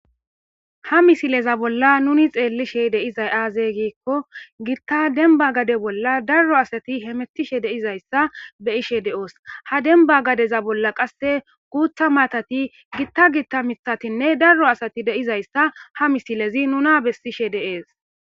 ha misileza bolla nuni xeellishe deizay aazey giikko giitta denba gade bolla darro asati hemettishe deizayssa be ishe de7oos ha demba gadeza bolla qasse guutha maatati gitta gitta mithatinne darro asati deizayssa ha misilezi nuna bessishe deees